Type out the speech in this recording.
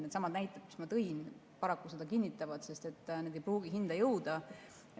Needsamad näited, mis ma tõin, paraku seda kinnitavad, need ei pruugi hinda jõuda.